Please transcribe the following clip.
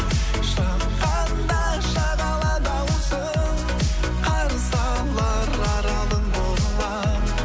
шыққанда шағала даусың қарсы алар аралың боламын